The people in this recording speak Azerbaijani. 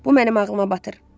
Bu mənim ağlıma batır.